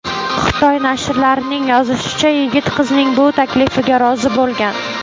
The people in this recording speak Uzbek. Xitoy nashrlarining yozishicha , yigit qizning bu taklifiga rozi bo‘lgan.